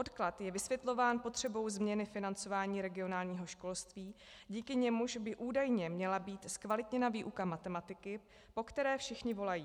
Odklad je vysvětlován potřebou změny financování regionálního školství, díky němuž by údajně měla být zkvalitněna výuka matematiky, po které všichni volají.